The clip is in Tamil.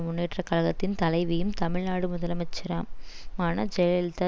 முன்னேற்ற கழகத்தின் தலைவியும் தமிழ் நாடு முதலமைச்சராம் ஆன ஜெயலல்தா